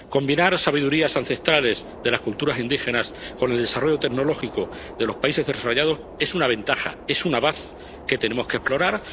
Combinar las sabidurías ancestrales de las culturas indígenas con el desarrollo tecnológico de los países desarrollados es una ventaja, es una baza que tenemos que explorar.